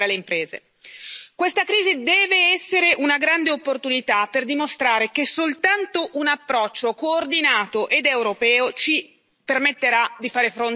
Questa crisi deve essere una grande opportunità per dimostrare che soltanto un approccio coordinato ed europeo ci permetterà di fare fronte a questa minaccia.